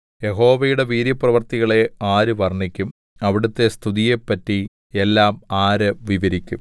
യഹോവയുടെ വീര്യപ്രവൃത്തികളെ ആര് വർണ്ണിക്കും അവിടുത്തെ സ്തുതിയെപ്പറ്റി എല്ലാം ആര് വിവരിക്കും